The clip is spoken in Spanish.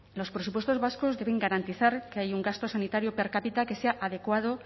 los presupuestos vascos deben garantizar que hay un gasto sanitario per cápita que sea adecuado